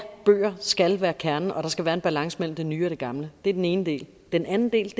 bøger skal være kernen og der skal være en balance mellem den nye og det gamle det er den ene del den anden del